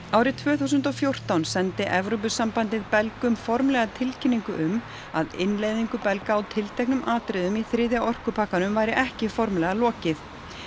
árið tvö þúsund og fjórtán sendi Evrópusambandið Belgum formlega tilkynningu um að innleiðingu Belga á tilteknum atriðum í þriðja orkupakkanum væri ekki formlega lokið